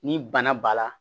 Ni bana b'a la